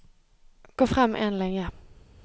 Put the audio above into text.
Gå frem én linje